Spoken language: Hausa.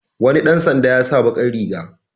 Wani ɗan sanda ya sa baƙar riga.